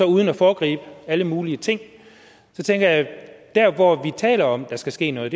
uden at foregribe alle mulige ting at dér hvor vi taler om der skal ske noget